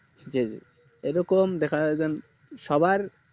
জি এইরকম দেখা যাই সবার